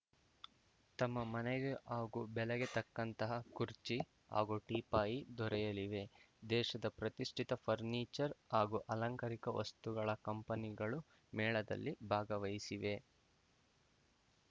ತಮ್ಮ ಮನೆಗೆ ಹಾಗೂ ಬೆಲೆಗೆ ತಕ್ಕಂತಹ ಕುರ್ಚಿ ಹಾಗೂ ಟೀಪಾಯಿ ದೊರೆಯಲಿವೆ ದೇಶದ ಪ್ರತಿಷ್ಠಿತ ಫರ್ನೀಚರ್‌ ಹಾಗೂ ಅಲಂಕಾರಿಕ ವಸ್ತುಗಳ ಕಂಪನಿಗಳು ಮೇಳದಲ್ಲಿ ಭಾಗವಹಿಸಿವೆ